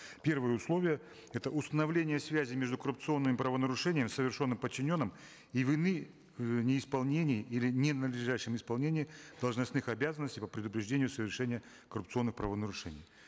первое условие это установление связи между коррупционным правонарушением совершенным подчиненным и вины в неисполнении или ненадлежащем исполнении должностных обязанностей по предупреждению совершения коррупционных правонарушений